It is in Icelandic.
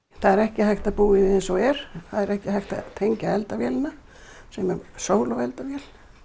það er ekki hægt að búa í því eins og er það er ekki hægt að tengja eldavélina sem er sólo eldavél